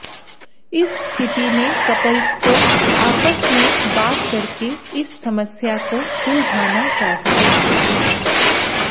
इस स्थिति में कपल्स को आपस में बात करके इस समस्या को सुलझाना चाहिए